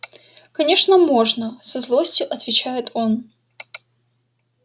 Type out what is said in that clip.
конечно можно со злостью отвечает он